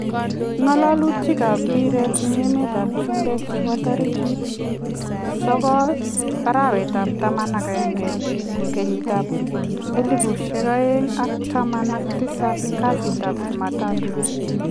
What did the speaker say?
Ngalalutik ab mpiret en emet ab chumbek chebo tarikit 06-11-2017 kasitap chumatatu